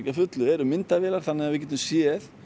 að fullu erum myndavélar þannig að við getum séð